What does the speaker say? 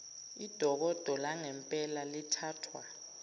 idokodo langempela lithathwa